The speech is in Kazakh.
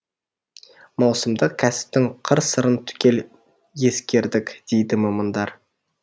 маусымдық кәсіптің қыр сырын түгел ескердік дейді мамандар